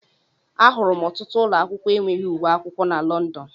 Ahụrụ m ọtụtụ ụlọ akwụkwọ enweghị uwe akwụkwọ na London.